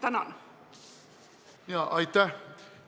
Aitäh!